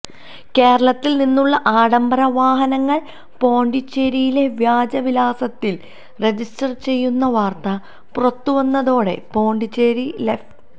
കേരളത്തില് നിന്നുള്ള ആഡംബര വാഹനങ്ങള് പോണ്ടിച്ചേരിയിലെ വ്യാജ വിലാസത്തില് രജിസ്റ്റര് ചെയ്യുന്ന വാര്ത്ത പുറത്തുവന്നതോടെ പോണ്ടിച്ചേരി ലഫ്